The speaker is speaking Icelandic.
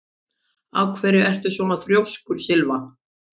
Af hverju ertu svona þrjóskur, Sylva?